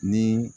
Ni